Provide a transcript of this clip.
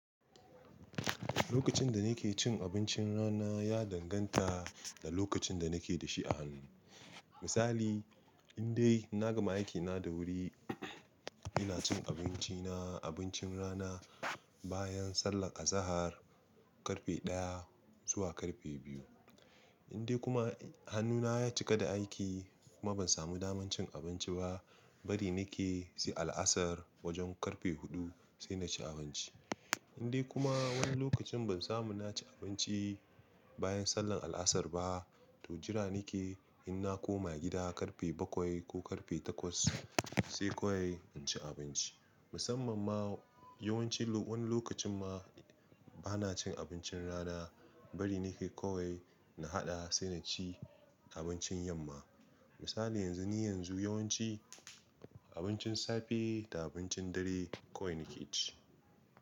Lokacin da nake cin abincin rana ya danganta da lokacin da nake da shi a hannu. Misali in dai na gama aikina da wuri, ina cin abinci na abincin rana bayan sallar azahar karfe ɗaya zuwa karfe biyu. In dai kuma hannuna ya cika da aiki kuma ban samu damar cin abinci ba, bari nake sai a la'asar wajen karfe huɗu sai na ci abinci. In dai kuma wani lokacin ban samu na ci abinci bayan sallar al asar ba, to jira nake in na koma gida karfe bakwai ko karfe takwas sai kawai in ci abinci. Musamman ma yawanci wani lokacin ma ba na cin abincin rana bari nake kawai na haɗa sai na ci abincin yamma. Misali yanzu ni yanzu yawanci abincin safe da abincin dare kawai nake ci.